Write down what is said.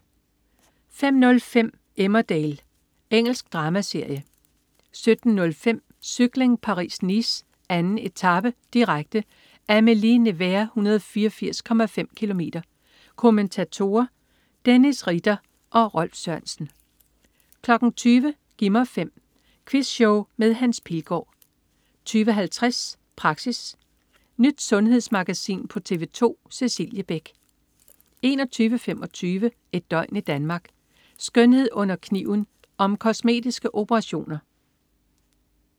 05.05 Emmerdale. Engelsk dramaserie 17.05 Cykling: Paris-Nice. 2. etape, direkte. Amilly-Nevers, 184,5 km. Kommentatorer: Dennis Ritter og Rolf Sørensen 20.00 Gi' mig 5. Quizshow med Hans Pilgaard 20.50 Praxis. Nyt sundhedsmagasin på TV 2. Cecilie Beck 21.25 Et døgn i Danmark: Skønhed under kniven. Om kosmetiske operationer